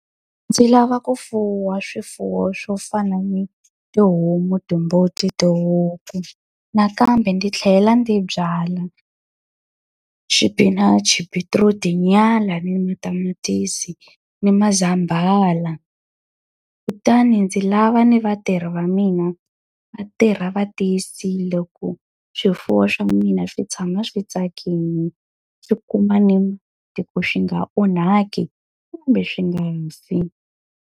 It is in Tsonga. Ndzi lava ku fuwa swifuwo swo fana na tihomu, timbuti, tihuku, nakambe ndzi tlhela ndzi byala xipinachi, beetroot-i, tinyala, ni matamatisi, ni mazambala. Kutani ndzi lava ni vatirhi va mina va tirha va tiyisile ku swifuwo swa mina swi tshama swi tsakile, swi kuma ni swi nga onhaki kumbe swi nga fi.